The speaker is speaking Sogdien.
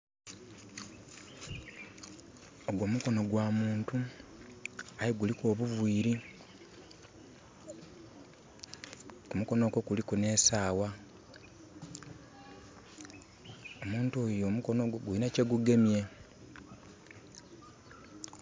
Ogwo mukono gwa muntu. Aye guliku obuviiri. Ku mukono okwo kuliku ne saawa. Omuntu oyo omukono ogwo gulina kye gugemye